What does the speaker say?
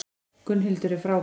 Gunnhildur er frábær.